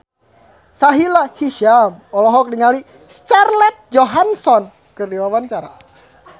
Sahila Hisyam olohok ningali Scarlett Johansson keur diwawancara